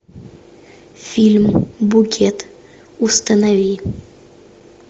фильм букет установи